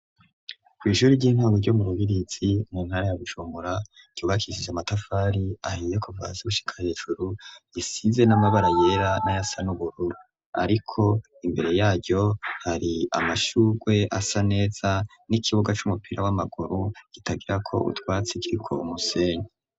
Kw'ishuri ry'intwaro ryo mu rubirizi mu ntara ya Bujumbura ryubakishije amatafari ahiye kuva hasi gushika hejuru isize n'amabara yera nayasa n'ubururu ariko imbere yaryo hari amashurwe asa neza n'ikibuga c'umupira w'amaguru kitagirako utwatsi kiriko umusenyi.